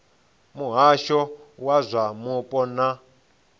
muhasho wa zwa mupo na